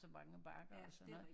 Ja det er rigtigt